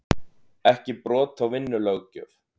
Ekki brot á vinnulöggjöf